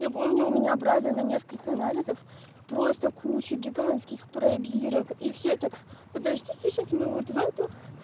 я помню у меня брали на несколько анализов просто куча гигантских пробирок и все так подождите сейчас мы вот в эту